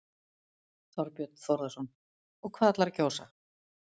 Þorbjörn Þórðarson: Og hvað ætlarðu að kjósa?